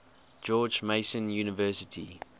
george mason university